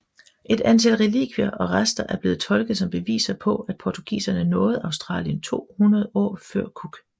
Et antal relikvier og rester er blevet tolket som beviser på at portugiserne nåede Australien 200 år før Cook